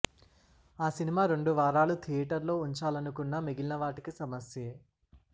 ఆ సినిమా రెండు వారాలు థియేటర్లో వుంచాలనుకున్నా మిగిలిన వాటికి సమస్యే